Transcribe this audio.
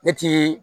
Ne ti